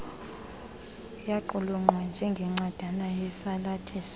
yaqulunqwa njengencwadana esisalathiso